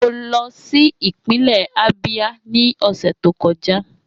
Mo lọ si ipinlẹ Abia ni ọsẹ to kọja.